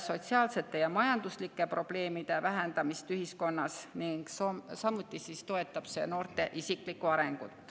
sotsiaalsete ja majanduslike probleemide vähendamist ühiskonnas ning samuti toetab see noorte isiklikku arengut.